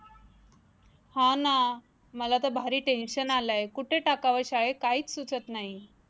हा ना, मला तर भारी tension आलय कुठे टाकावे शाळेत काहीच सुचत नाही